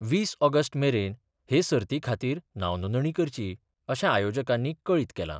वीस ऑगस्ट मेरन हे सर्तीखातीर नावनोंदणी करची अशे आयोजकानी कळीत केला.